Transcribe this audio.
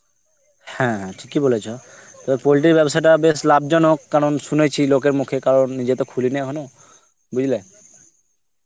হ্যাঁ, হ্যাঁ, ঠিকই বলেছ, তো poultry এর ব্যবসাটা বেশ লাভজনক কারণ শুনেছি লোকের মুখে কারণ নিজে তো খুলিনি এখনো. বুঝলে?